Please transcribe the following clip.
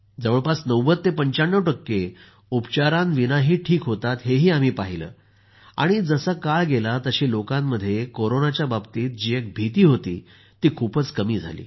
जवळपास 90 ते 95 टक्के उपचाराविनाही ठीक होतात हेही आम्ही पाहिलं आणि जसा काळ गेला तसा लोकांमध्ये कोरोनाच्या बाबतीत जी एक भीती होती ती खूपच कमी झाली